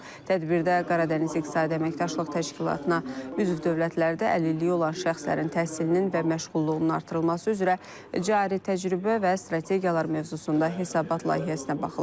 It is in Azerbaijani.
Tədbirdə Qaradəniz İqtisadi Əməkdaşlıq Təşkilatına üzv dövlətlərdə əlilliyi olan şəxslərin təhsilinin və məşğulluğunun artırılması üzrə cari təcrübə və strategiyalar mövzusunda hesabat layihəsinə baxılıb.